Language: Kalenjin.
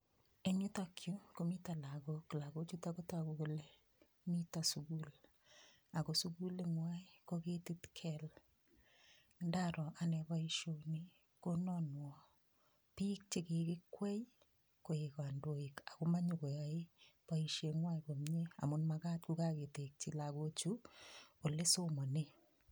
Eng yutokyu komito lagok, lagochutok kotogu kole miti sukul. Ako sukuling'wai ko ketit kel. Ndaro ane boishoni konanwa piik chekikikwei koek kandoik ako manyokoyaei boisheng'wai komie amun makat kokaketekchi lagochu ole somane.